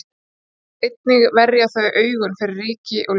einnig verja þau augun fyrir ryki og ljósi